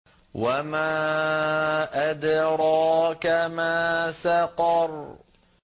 وَمَا أَدْرَاكَ مَا سَقَرُ